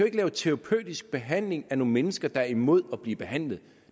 ikke lave terapeutisk behandling af nogle mennesker der er imod at blive behandlet